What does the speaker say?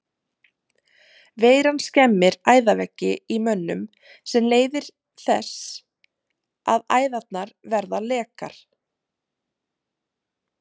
Veiran skemmir æðaveggi í mönnum sem leiðir þess að æðarnar verða lekar.